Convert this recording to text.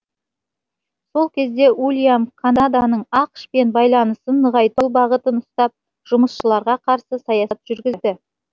сол кезде уильям канаданың ақш пен байланысын нығайту бағытын ұстап жұмысшыларға қарсы саясат жүргізді